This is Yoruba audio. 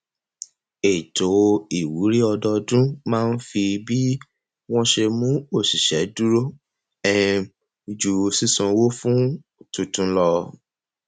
ètò ìwúrí owó ọdọọdún máa ń fi bí wọn ṣe mú òṣìṣẹ dúró um ju sísanwó fún tuntun lọ